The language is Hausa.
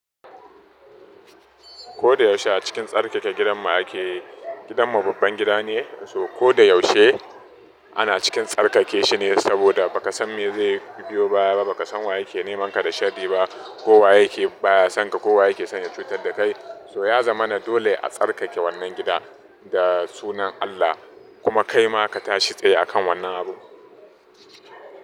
Ko da yaushe a cikin tsarkake gidanmu ake. Gidanmu babban gida ne, so ko da yaushe ana cikin tsarkake shi ne, saboda ba ka san me zai biyo ba, ba ka san wa yake nemanka da sharri ba, ko wa yake baya sanka, ko wa yake son ya cutar da kai. So ya zama dole a tsarkake wannan gida da sunan Allah, kuma kai ma ka tashi tsaye a kan wannan abun.